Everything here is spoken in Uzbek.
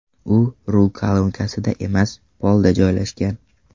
U rul kolonkasida emas, polda joylashgan.